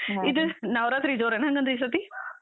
ಇದ್, ನವರಾತ್ರಿ ಜೋರೇನ ಹಂಗಂದ್ರೀಸತಿ?